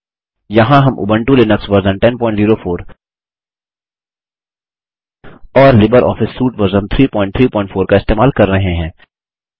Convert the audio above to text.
यहाँ हम Ubuntu Linux version 1004 और लिबर ऑफिस सूट वर्ज़न 334 इस्तेमाल कर रहे हैं